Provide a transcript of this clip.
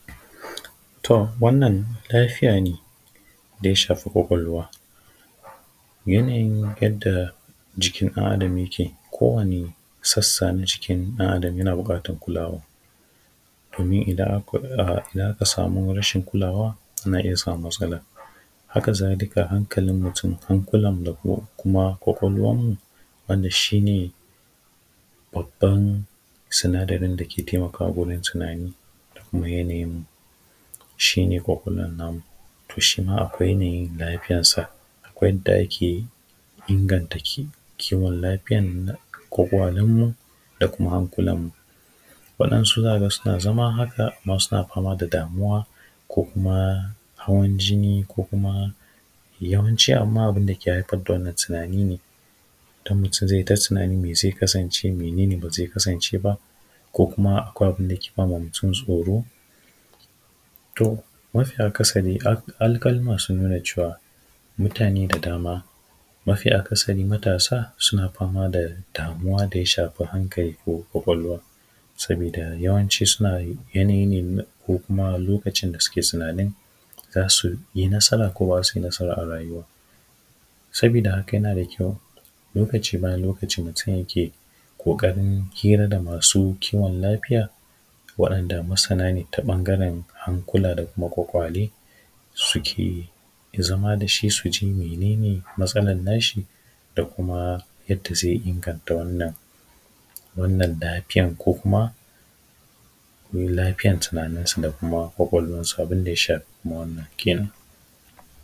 To wannan lafiya ne da ya shafi kawkwalwa yanayin yanda jikin ɗan’Adam yake kowane sassa na jikin ɗan’Adam yana buƙatan kulawa domin idan aka samu rashin kulawa za a iya samun matsalla. Hakazalika, hankalin mutum hankulanmu da kuma kwakwalwanmu wanda shi ne babban sinadarin da ke taimakawa wajen tunani da kuma yanayinmu shi ne kwakwalwan namu to shi ma akwai yanayin lafiyansa, akwai yanda ake inganta kiwon lafiya da kwakwalenmu da kuma hankulanmu, waɗansu za ka ga suna zama haka amman suna fama da damuwa za su iya hawan jini ko kuma yawanci, amma abun da ke haifar da wannan tunani ne mutum zai ta tunani me zai kasance, mene ne ba zai kasance ba, ko kuma akwai abun da ke ba ma mutum tsoro. To, amafi akasari, alkalima sun nuna cewa mutane da dama mafi akasari matasa suna fama da damuwa da ya shafi hankali ko kwakwalwa sabida yawanci suna yanayi ne ko kuma lokacin da suke tunanin za su yi nasara ko ba za su yi nasara a rayuwa ba, sabida haka yana da kyau lokaci bayan lokaci mutum yake ƙoƙarin hira da masu kiwon lafiya waɗanda masana ne ta ɓangaren hankula da kuma kwakwale suke zama da shi su ji mene ne matsalan nashi da kuma yanda zai inganta wannan lafiyan ko kuma lafiyar tunaninsa da kuma kwakwalwansa abun da ya shafi wannan lafiya.